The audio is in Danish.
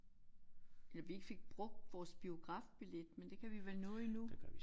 Eller vi ikke fik brugt vores biografbillet men det kan vi vel nå endnu